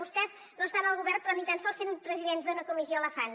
vostès no estan al govern però ni tan sols sent presidents d’una comissió la fan